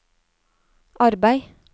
arbeid